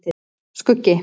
Skuggi